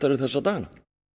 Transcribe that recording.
þessa dagana